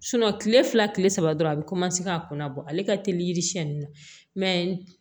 kile fila kile saba dɔrɔn a bi ka kunna bɔ ale ka teli yiri siɲɛni na mɛ